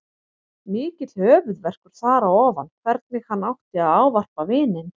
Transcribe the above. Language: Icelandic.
Mikill höfuðverkur þar á ofan hvernig hann átti að ávarpa vininn.